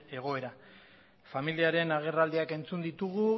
egoera familiaren agerraldiak entzun ditugu